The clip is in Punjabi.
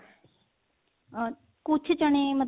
ਅਹ ਕੁੱਝ ਚਨੇ ਮਤਲਬ